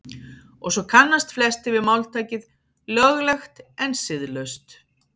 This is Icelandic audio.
og svo kannast flestir við máltækið „löglegt en siðlaust“